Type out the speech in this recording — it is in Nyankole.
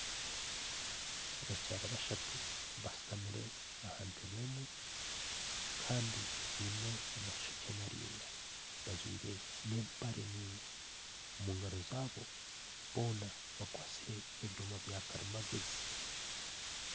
Abakyara bashatu bashuutamire aha ntebbe emwe kandi baine amashookye maraingwa bajwaire n'empare ndaingwa omugaro zaabo boona bakwastire ebyooma bya karimangyezi.